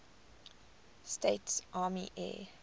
states army air